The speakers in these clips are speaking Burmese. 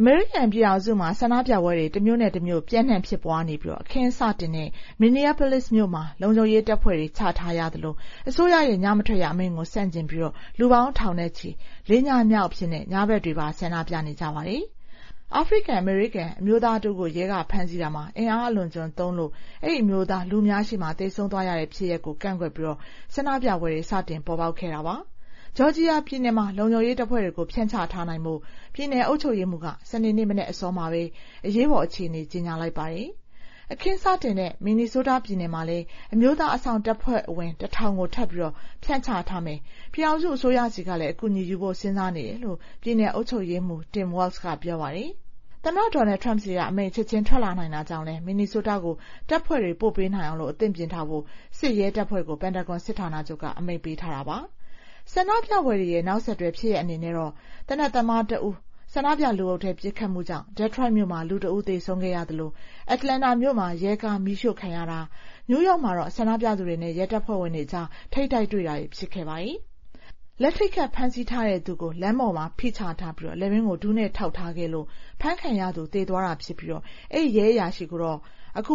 အမေရိကန်ပြည်ထောင်စုမှာ ဆန္ဒပြပွဲတွေ တမြို့နဲ့တမြို့ ပျံ့နှံ့ဖြစ်ပွားနေပြီး အခင်းစတင်တဲ့ Minneapolis မြို့မှာ လုံခြုံရေးတပ်ဖွဲ့တွေ ချထားရသလို အစိုးရရဲ့ ညမထွက်ရအမိန့်ကို ဆန့်ကျင်ပြီး လူပေါင်းထောင်နဲ့ချီ ၄ ညမြောက်အဖြစ် ညဘက်တွေပါ ဆန္ဒပြနေကြပါတယ်။ အာဖရိကန်-အမေရိကန် အမျိုးသားတဦးကို ရဲက ဖမ်းဆီးတာမှာ အင်အားအလွန်အကျွံသုံးလို့ အဲဒီအမျိုးသား လူအများရှေ့မှာ သေဆုံးသွားရတဲ့ ဖြစ်ရပ်ကို ကန့်ကွက်ပြီး ဆန္ဒပြပွဲတွေ စတင်ပေါ်ပေါက်လာတာပါ။ ဂျော်ဂျီယာပြည်နယ်မှာတော့ လုံခြုံရေးတပ်ဖွဲ့တွေကို ဖြန့်ချထားနိုင်ဖို့ ပြည်နယ်အုပ်ချုပ်ရေးမှူးက စနေနေ့ မနက်အစောမှာပဲ အရေးပေါ်အခြေအနေ ကြေညာလိုက်ပါတယ်။ အခင်းစတင်တဲ့ Minnesota ပြည်နယ်မှာလည်း အမျိုးသား အစောင့်တပ်ဖွဲ့ဝင် ၁,၀၀၀ ကို ထပ်ပြီး ဖြန့်ချမယ်၊ ပြည်ထောင်စုအစိုးရဆီကလည်း အကူအညီယူဖို့ စဉ်းစားနေတယ်လို့ ပြည်နယ်အုပ်ချုပ်ရေးမှူး Tim Waltz က ပြောပါတယ်။ သမ္မတ Donald Trump ဆီက အမိန့် ချက်ချင်းထွက်လာနိုင်တာကြောင့်လည်း Minnesota ကို တပ်ဖွဲ့တွေ ပို့ပေးနိုင်အောင် အသင့်ပြင်ထားဖို့ စစ်ရဲတပ်ဖွဲ့ကို Pantagon စစ်ဌာနချုပ်က အမိန့်ပေးထားပါတယ်။ ဆန္ဒပြပွဲတွေရဲ့ နောက်ဆက်တွဲဖြစ်ရပ်တွေ အနေနဲ့တော့ သေနတ်သမားတဦး ဆန္ဒပြလူအုပ်ထဲ ပစ်ခတ်မှုကြောင့် Detroit မြို့မှာ လူတဦး သေဆုံးခဲ့ရသလို Atlanta မြို့မှာ ရဲကား မီးရှို့ခံရတာ၊ နယူးယောက်မှာတော့ ဆန္ဒပြသူတွေနဲ့ ရဲတပ်ဖွဲ့အကြား ထိပ်တိုက်တွေ့တာတွေ ဖြစ်ခဲ့ပါတယ်။ လက်ထိပ်ခတ် ဖမ်းဆီးပြီးသူကို လမ်းပေါ်မှာ ဖိချထားပြီး လည်ပင်းကို ဒူးနဲ့ထောက်ထားခဲ့လို့ အဖမ်းခံရသူ သေသွားတာဖြစ်ပြီး အဲဒီရဲအရာရှိကိုတော့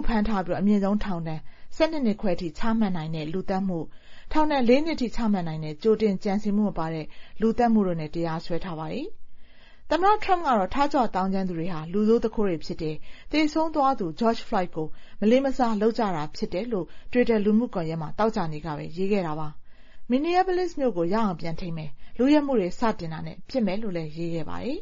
ဖမ်းထားပြီး အမြင့်ဆုံး ထောင်ဒဏ် ၁၂ နှစ်ခွဲထိ ချမှတ်နိုင်တဲ့ လူသတ်မှု၊ ထောင်ဒဏ် ၄ နှစ်ထိ ချမှတ်နိုင်တဲ့ ကြိုတင်ကြံစည်မှုမပါတဲ့ လူသတ်မှုတို့နဲ့ တရားစွဲထားပါတယ်။ သမ္မတ Trump ကတော့ ထကြွသောင်းကျန်းသူတွေဟာ လူဆိုးသူခိုးတွေဖြစ်တယ်၊ သေဆုံးသွားသူ George Floyd ကို မလေးမစား လုပ်နေကြတာ ဖြစ်တယ်လို့ တွစ်တာ လူမှုကွန်ရက်မှာ သောကြာနေ့ကပဲ ရေးခဲ့တာပါ။ Minneapolis မြို့ကို ရအောင်ပြန်ထိန်းမယ်၊ လုယက်မှုတွေ စလုပ်တာနဲ့ ပစ်မယ်လို့လည်း ရေးခဲ့ပါတယ်။